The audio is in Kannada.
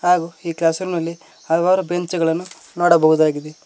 ಹಾಗೂ ಈ ಕ್ಲಾಸ್ ರೂಮ್ ನಲ್ಲಿ ಹಲವಾರು ಬೆಂಚ್ ಗಳನ್ನು ನೋಡಬಹುದಾಗಿದೆ.